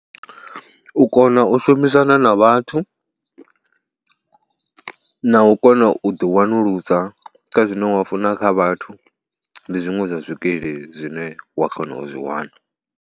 U kona u shumisana na vhathu na u kona u ḓiwanulusa kha zwine wa funa kha vhathu, ndi zwiṅwe zwa zwikili zwine wa kona u zwi wana.